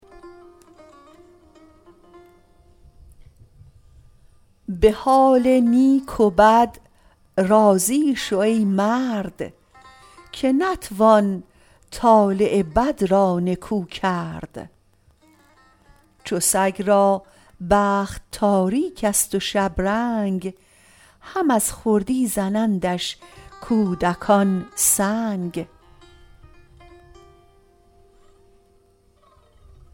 به حال نیک و بد راضی شو ای مرد که نتوان طالع بد را نکو کرد چو سگ را بخت تاریکست و شبرنگ هم از خردی زنندش کودکان سنگ